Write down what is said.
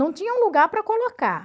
Não tinha um lugar para colocar.